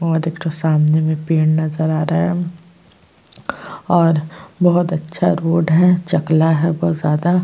और एक ठो सामने में पेड़ नज़र आ रहा है और और बहुत अच्छा रोड है चकला है बहुत ज्यादा।